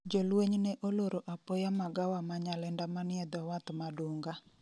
Jolweny ne oloro apoya magawa ma Nyalenda manie dho wath ma Dunga